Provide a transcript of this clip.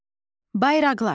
Bayraqlar.